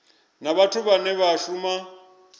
na vhathu vhane vha shuma